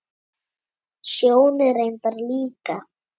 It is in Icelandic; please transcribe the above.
Sjóni reyndar líka.